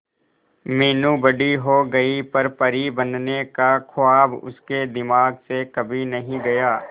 मीनू बड़ी हो गई पर परी बनने का ख्वाब उसके दिमाग से कभी नहीं गया